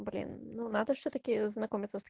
блин ну надо все таки знакомится с та